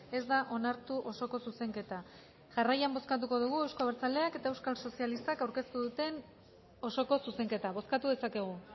ez da onartu osoko zuzenketa jarraian bozkatuko dugu euzko abertzaleak eta euskal sozialistak aurkeztu duten osoko zuzenketa bozkatu dezakegu